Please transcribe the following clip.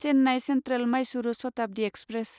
Chennai central Mysuru Shatabdi express